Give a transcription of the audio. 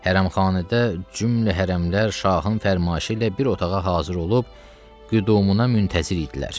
Hərəmxanədə cümlə hərəmlər şahın fərmanı ilə bir otağa hazır olub, qüdumuna müntəzir idilər.